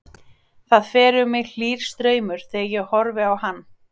Það fer um mig hlýr straumur þegar ég horfi á hann.